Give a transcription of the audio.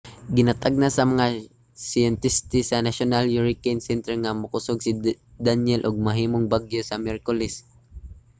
ginatagna sa mga siyentista sa national hurricane center nga mokusog si danielle ug mahimong bagyo sa miyerkules